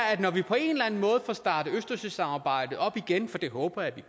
at når vi på en eller anden måde får startet østersøsamarbejdet op igen for det håber jeg